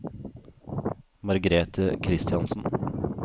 Margrethe Christiansen